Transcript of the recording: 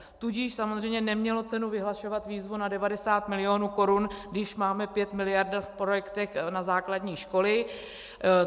Tudíž samozřejmě nemělo cenu vyhlašovat výzvu na 90 milionů korun, když máme 5 miliard v projektech na základní školy.